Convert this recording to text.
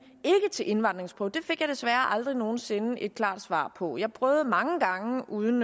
til indvandringsprøve det fik jeg desværre aldrig nogen sinde et klart svar på jeg prøvede mange gange men uden